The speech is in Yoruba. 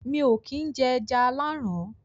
mi ò kín jẹ “ẹja aláàrán”